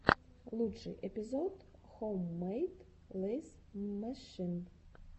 лучший эпизод хоуммэйд лэйз мэшин